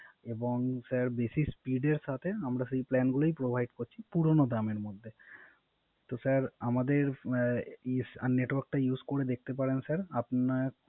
এবং Sir বিশেষ Speed এর সাথে আমরা সেই Plan গুলোই Provide করছি পুরনো দামের মধ্যে তো Sir আমাদের network টা Use করে দেখতে পারেন Sir